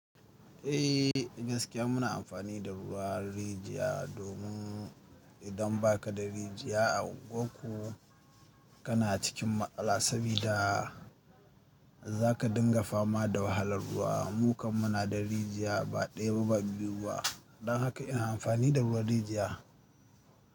Eh gaskiya muna amfani da ruwa rijiya domin idan baka da rijiya a ungwanku kana cikin matsala sabida zaka dinga fama da wahalar ruwa. Mu kam muna da rijiya ba ɗaya ba, ba biyu ba. Don haka ina amfani da ruwan rijiya.